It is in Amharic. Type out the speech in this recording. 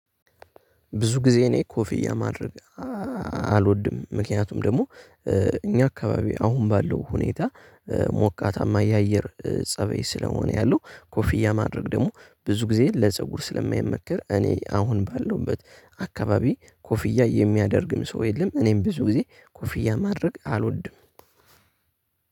ብዙ ጊዜ እኔ ኮፍያ ማድረግ አልወድም። ምክንያቱም ደግሞ እኛ አካባቢ አሁን ባለው ሁኔታ ሞቃታማ የአየር ፀበይ ስለሆነ ያለው ኮፍያ ማድረግ ደግሞ ብዙ ጊዜ ለፀጉር ስለማይመከር። እኔ አሁን ባለሁበት አካባቢ ኮፍያ የሚያደርግም ሰው የለም። እኔም ብዙ ጊዜ ኮፍያ ማድረግ አልወድም።